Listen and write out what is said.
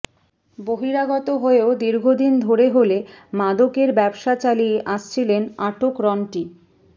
বহিরাগত হয়েও দীর্ঘদিন ধরে হলে মাদকের ব্যবসা চালিয়ে আসছিলেন আটক রন্টি